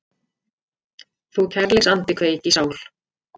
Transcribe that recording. Þú kærleiksandi kveik í sál